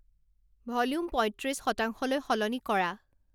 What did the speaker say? volume পয়ত্ৰিছ শতাংশলৈ সলনি কৰা